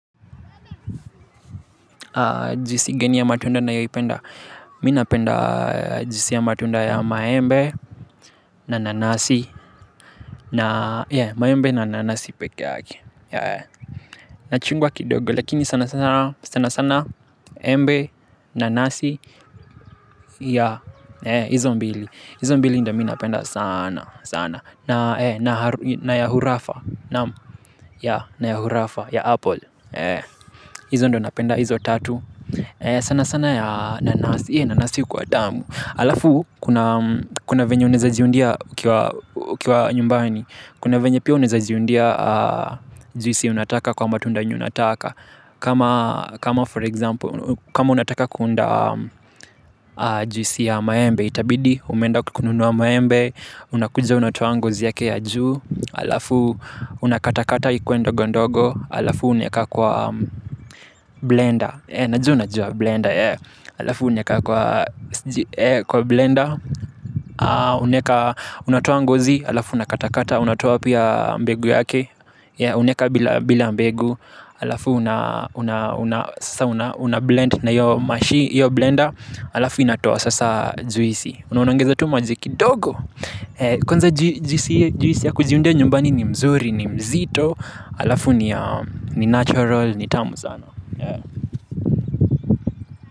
Juisi gani ya matunda nayoi penda. Mimi napenda juisi ya matunda ya maembe. Na nanasi. Na ya maembe na nanasi pekee yake na chungwa kidogo lakini sana sana sana. Embe nanasi. Ya hizo mbili. Hizo mbili ndo mimi napenda sana sana. Na ya hurafa. Ya na ya hurafa ya apple. Hizo ndo napenda hizo tatu. Sana sana ya nanasi hee nanasi hukuwa tamu. Alafu kuna venye unaweza jiundia ukiwa nyumbani. Kuna venye pia unaeza jiundia juisi unataka kwa matunda yenye unataka. Kama for example, kama unataka kuunda juisi ya maembe itabidi umeenda kukununua maembe, unakuja unatua ngozi yake ya juu. Alafu unakata kata ikuwe ndogondogo. Alafu unaweka kwa blender E najua unajua blender alafu unaweka kwa blender unaweka unatoa ngozi alafu unakata kata unatoa pia mbegu yake uneka bila mbegu alafu unablend na hiyo blender alafu inatoa sasa juisi unaongeza tu maji kidogo kwanza juisi ya kujiundia nyumbani ni mzuri ni mzito alafu ni natural ni tamu sana ya.